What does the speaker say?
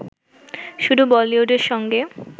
শুধু বলিউডের সঙ্গে